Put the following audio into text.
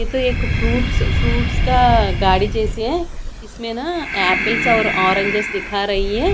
यह तो एक फ्रूट्स फ्रूट्स का गाड़ी जैसी है इसमें ना एपल्स और ऑरेंज दिखा रही हैं।